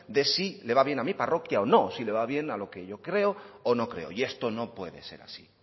de si le va bien a mi parroquia o no si le va bien a lo que yo creo o no creo y esto no puede ser así